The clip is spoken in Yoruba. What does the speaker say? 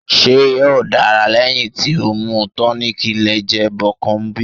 Ṣe yoo dara lẹhin ti o mu tonic lẹjẹ Becombion?